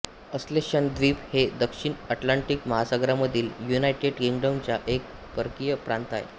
ascension द्वीप हे दक्षिण अटलांटिक महासागरामधील युनायटेड किंग्डमचा एक परकीय प्रांत आहे